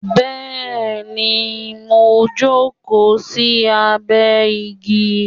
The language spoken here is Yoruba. Bẹẹni, mo ń jókòó sí abẹ igi